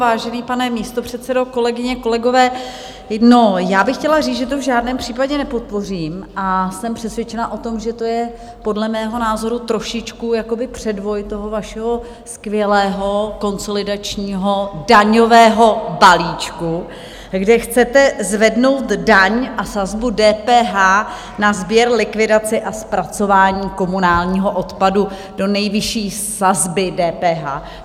Vážený pane místopředsedo, kolegyně, kolegové, já bych chtěla říct, že to v žádném případě nepodpořím, a jsem přesvědčena o tom, že to je podle mého názoru trošičku předvoj toho vašeho skvělého konsolidačního daňového balíčku, kde chcete zvednout daň a sazbu DPH na sběr, likvidaci a zpracování komunálního odpadu do nejvyšší sazby DPH.